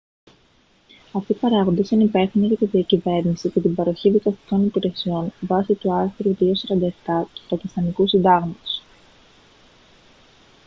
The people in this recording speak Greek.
αυτοί οι παράγοντες είναι υπεύθυνοι για τη διακυβέρνηση και την παροχή δικαστικών υπηρεσιών βάσει του άρθρου 247 του πακιστανικού συντάγματος